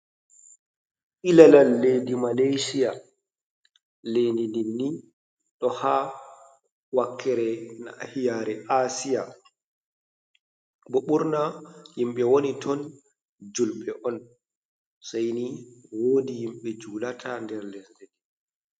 Ilalal leidi Malashiya, leididinni ha wakere nahiyare Asiya bo. ɓurna yimɓe wani ton julɓe'on, Seini wodi himɓe julata nder leddi ndi.